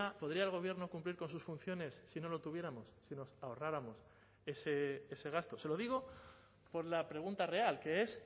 podría el gobierno cumplir con sus funciones si no lo tuviéramos si nos ahorráramos ese gasto se lo digo por la pregunta real que es